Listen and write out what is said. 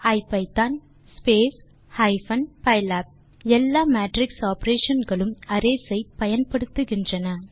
type செய்க ஐபிதான் hyphen pylab எல்லா மேட்ரிக்ஸ் ஆப்பரேஷன் களும் அரேஸ் ஐ பயன்படுத்துகின்றன